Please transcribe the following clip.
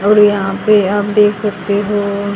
और यहां पे आप देख सकते हो--